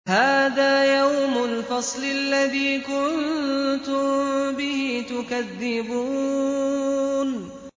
هَٰذَا يَوْمُ الْفَصْلِ الَّذِي كُنتُم بِهِ تُكَذِّبُونَ